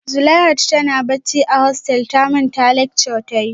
Zuleihat tana bacci a hostel ta manta lecture ta yi